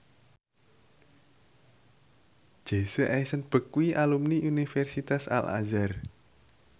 Jesse Eisenberg kuwi alumni Universitas Al Azhar